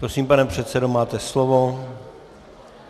Prosím, pane předsedo, máte slovo.